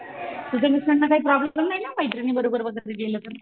तुझ्या मिस्टरांना काही प्रॉब्लम नाही ना मैत्रिणी बरोबर गेलं तर?